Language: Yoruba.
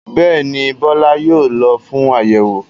Bẹ́ẹ̀ ni, Bọ́lá yóò lọ fún àyẹ̀wò?